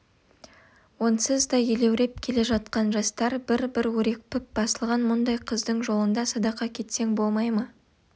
онсыз да елеуреп келе жатқан жастар бір-бір өрекпіп басылған мұндай қыздың жолында садақа кетсең болмай ма